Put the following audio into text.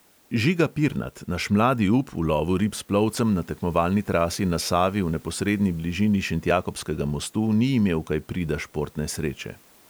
Žiga pirnat, naš mladi up, v lovu rib s plovcem na tekmovalni trasi na savi v neposredni bližini šentjakobskega mostu ni imel kaj prida športne sreče.